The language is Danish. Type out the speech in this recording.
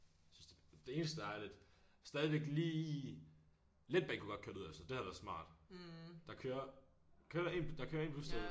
Synes det det eneste der er lidt stadigvæk lige letbanen kunne godt køre derud altså det havde været smart der kører kører der en der kører en bus derud